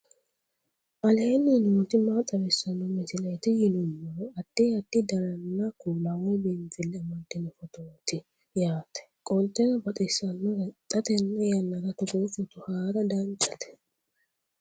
aleenni nooti maa xawisanno misileeti yinummoro addi addi dananna kuula woy biinfille amaddino footooti yaate qoltenno baxissannote xa tenne yannanni togoo footo haara danchate